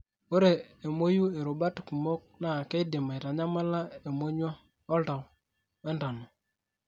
Ore emoyu irubat kumok naa keidim aitanyamala emonyua, oltau ,wentano.